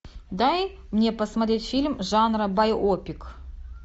дай мне посмотреть фильм жанра байопик